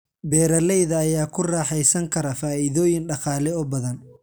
Beeralayda ayaa ku raaxaysan kara faa'iidooyin dhaqaale oo badan.